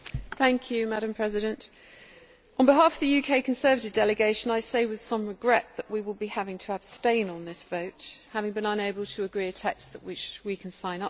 Madam President, on behalf of the UK Conservative delegation I say with some regret that we will be having to abstain on this vote, having been unable to agree a text which we can sign up to.